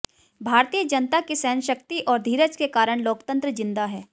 भारतीय जनता की सहनशक्ति और धीरज के कारण लोकतंत्र जिंदा है